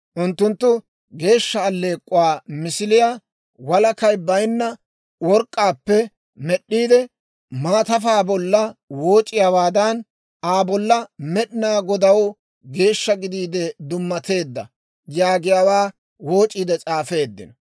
Unttunttu geeshsha allek'k'uwaa misiliyaa walakay baynna work'k'aappe med'd'iide, maatafaa bolla wooc'iyaawaadan, Aa bolla, «Med'inaa Godaw Geeshsha Gidiide Dummatteedda» yaaggiyaawaa wooc'iide s'aafeeddino.